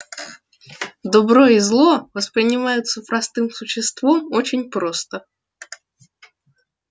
добро и зло воспринимаются простым существом очень просто